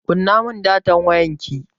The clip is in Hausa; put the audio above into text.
Kunna mun datan wayarki!